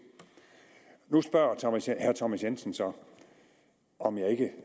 nu spørger herre thomas jensen så om jeg ikke